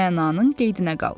Mənanın qeydinə qal.